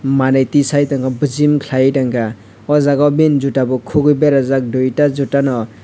manie tisai tango bijim kalai tangka o jaga o bini juta bo kogoi berajak duita juta no.